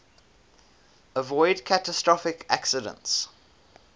avoid catastrophic accidents